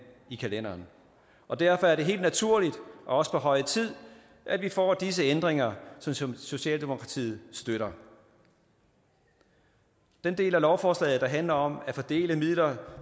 i kalenderen og derfor er det helt naturligt og også på høje tid at vi får disse ændringer som socialdemokratiet støtter den del af lovforslaget der handler om at fordele midler